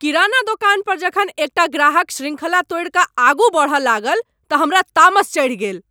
किराना दोकान परजखन एकटा ग्राहक श्रृंखला तोड़ि कऽ आगू बढ़य लागल तऽ हमरा तामस चढ़ि गेल।